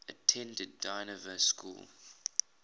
attended dynevor school